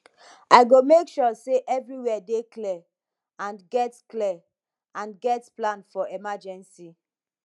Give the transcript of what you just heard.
i go make sure say everywhere dey clear and get clear and get plan for emergency